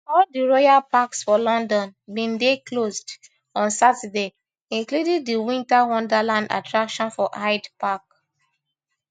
all di royal parks for london bin dey closed on saturday including di winter wonderland attraction for hyde park